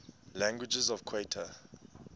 languages of qatar